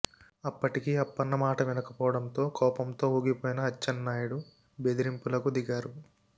అప్పటికీ అప్నన్న మాట వినకపోవడంతో కోపంతో ఊగిపోయిన అచ్చెన్నాయుడు బెదిరింపులకు దిగారు